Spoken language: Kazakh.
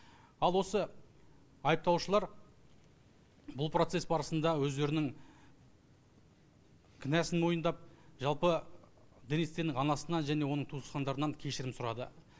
ал осы айыпталушылар бұл процесс барсыныда өздерінің кінәсын мойындап жалпы денис теннің анасынан және оның туысқандарынан кешірім сұрады